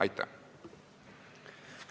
Aitäh!